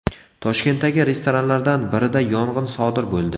Toshkentdagi restoranlardan birida yong‘in sodir bo‘ldi.